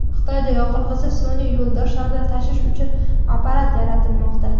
Xitoyda yoqilg‘isiz sun’iy yo‘ldoshlarni tashish uchun apparat yaratilmoqda.